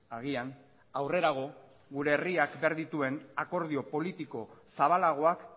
agian aurrerago gure herriak behar dituen akordio politiko zabalagoak